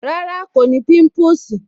Rárá, kò ní pimpusi